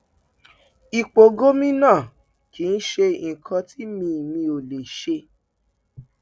ipò gómìnà kì í ṣe nǹkan tí mi mi ò lè ṣe